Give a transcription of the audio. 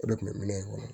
O de kun bɛ minɛn in kɔnɔ